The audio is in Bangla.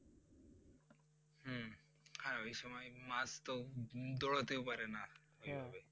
হ্যাঁ ওই সময় মাছ তো দৌড়াতেও পারে না ওইভাবে